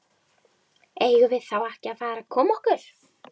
Eigum við þá ekki að fara að koma okkur?